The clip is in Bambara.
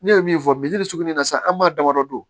Ne ye min fɔ misiri de surunya sisan an b'a damadɔ don